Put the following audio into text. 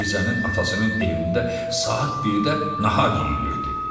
Mirzənin atasının evində saat 1-də nahar yeyilirdi.